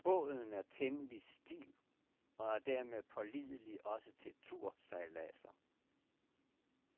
Båden er temmelig stiv, og er dermed pålidelig også til tursejladser.